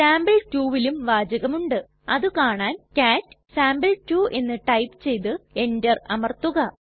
sample 2ലും വാചകമുണ്ട് അതുകാണാൻ കാട്ട് സാംപിൾ2 എന്ന് ടൈപ്പ് ചെയ്തു എന്റർ അമർത്തുക